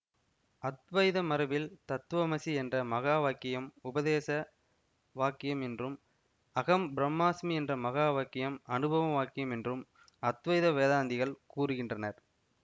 அத்வைத மரபில் தத்துவமசி என்ற மகாவாக்கியம் உபதேச வாக்கியம் என்றும் அஹம் பிரம்மாஸ்மி என்ற மகாவாக்கியம் அனுபவ வாக்கியம் என்றும் அத்வைத வேதாந்திகள் கூறுகின்றனர்